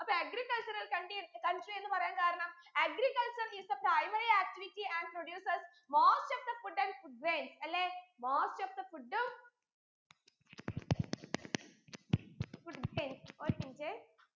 അപ്പോ agricultural county country എന്ന് പറയാൻ കാരണം agriculture is the primary activity and produces most of the food and food grains അല്ലേ most of the food ഉം food grains ഒരു minute A